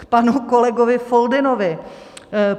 K panu kolegovi Foldynovi.